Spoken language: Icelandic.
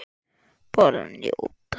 Bara njóta.